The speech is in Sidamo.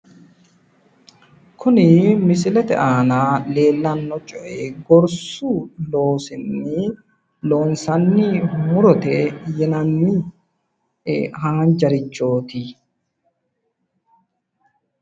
Kuni misilete aana leellanno coyii irshshu loosinni loonsanni murote yinanni haanjarichooti.